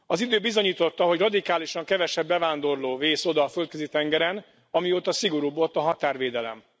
Az idő bizonyította, hogy radikálisan kevesebb bevándorló vész oda a Földközi tengeren, amióta szigorúbb ott a határvédelem.